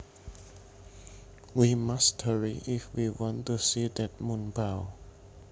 We must hurry if we want to see that moonbow